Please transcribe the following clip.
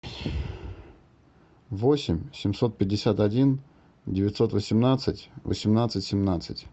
восемь семьсот пятьдесят один девятьсот восемнадцать восемнадцать семнадцать